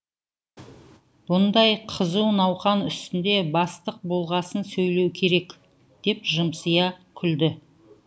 бұндай қызу науқан үстінде бастық болғасын сөйлеуі керек деп жымсия күлді